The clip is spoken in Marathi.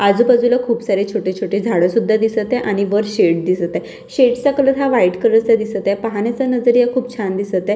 आजूबाजूला खूप सारे छोटे-छोटे झाडं सुद्धा दिसत आहे आणि वर शेड दिसत आहे शेड चा कलर हा व्हाईट कलर चा दिसत आहे पाहण्याचा नजरिया खूप छान दिसत आहे.